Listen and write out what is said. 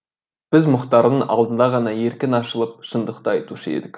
біз мұхтардың алдында ғана еркін ашылып шындықты айтушы едік